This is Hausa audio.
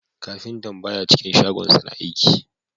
Kafintan baya cikin shagonsa na aiki